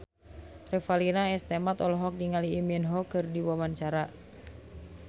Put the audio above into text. Revalina S. Temat olohok ningali Lee Min Ho keur diwawancara